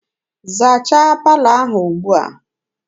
Zachaa palọ ahụ ugbua!